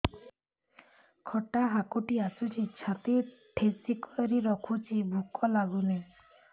ଖଟା ହାକୁଟି ଆସୁଛି ଛାତି ଠେସିକରି ରଖୁଛି ଭୁକ ଲାଗୁନି